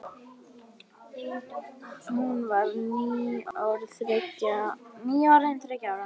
Hún var nýorðin þriggja ára.